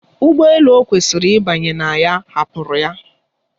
Ụgbọ elu o kwesịrị ịbanye na ya hapụrụ ya.